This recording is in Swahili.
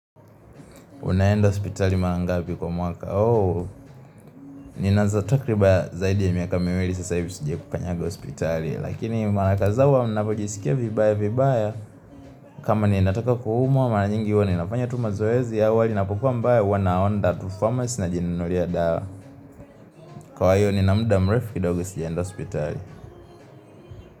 Unaenda hospitali mara ngapi kwa mwaka ooh Nina za takriban zaidi ya miaka miwili sasa hivi sijakukanyaga hospitali Lakini mara kadhaa huwa najisikia vibaya vibaya kama ninataka kuhumwa mara nyingi huwa ninafanya tuma mazoezi ya wali na inapokuwa mbaya huwa naenda tu pharmacy najinunulia dawa. Kwa hivo nina mda mrefu kiidogo sijaenda hospitali.